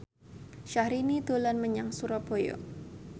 Syahrini dolan menyang Surabaya